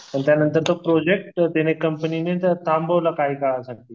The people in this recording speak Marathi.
आणि त्यांनतर तो प्रोजेक्ट तिने कंपनीने थांबवलं काही काळासाठी.